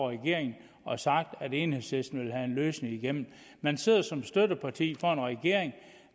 regeringen og sagt at enhedslisten vil have en løsning igennem man sidder som støtteparti for en regering